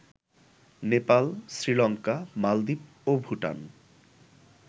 নেপাল, শ্রীলঙ্কা, মালদ্বীপ ও ভুটান